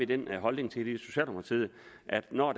den holdning at når